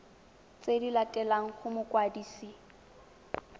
tse di latelang go mokwadisi